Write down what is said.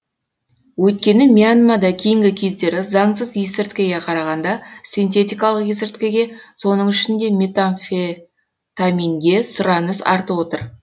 өйткені мьянмада кейінгі кездері заңсыз есірткіге қарағанда синтетикалық есірткіге соның ішінде метамфетаминге сұраныс артып отыр